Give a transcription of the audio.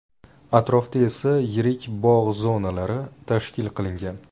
Atrofda esa yirik bog‘ zonalari tashkil qilingan.